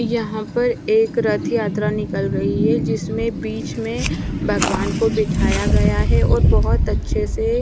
यहाँ पर एक रथ यात्रा निकल रही है जिसमें बीच में भगवान् को बिठाया गया है और बहुत अच्छे से--